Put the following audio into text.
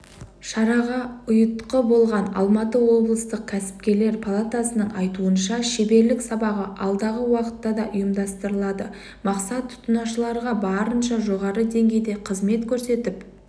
шараға ұйытқы болған алматы облыстық кәсіпкерлер палатасының айтуынша шеберлік сабағы алдағы уақытта да ұйымдастырылады мақсат тұтынушыларға барынша жоғары деңгейде қызмет көрсетіп